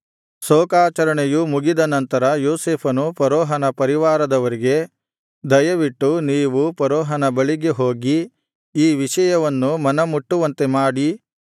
ಶೋಕಾಚರಣೆಯು ಮುಗಿದ ನಂತರ ಯೋಸೇಫನು ಫರೋಹನ ಪರಿವಾರದವರಿಗೆ ದಯವಿಟ್ಟು ನೀವು ಫರೋಹನ ಬಳಿಗೆ ಹೋಗಿ ಈ ವಿಷಯವನ್ನು ಮನಮುಟ್ಟುವಂತೆ ಮಾಡಿ